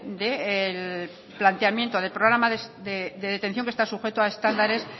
del planteamiento del programa de detención que está sujeto a estándares